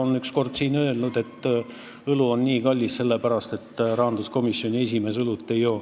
Ta ütles siin ükskord, et õlu on nii kallis sellepärast, et rahanduskomisjoni esimees õlut ei joo.